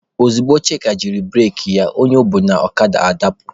Ozugbo Chika jiri bureki ya, onye o bu n'okada adapụ.